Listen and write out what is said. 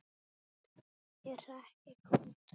Ég hrekk í kút.